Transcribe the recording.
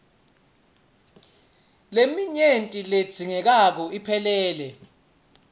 leminyenti ledzingekako iphelele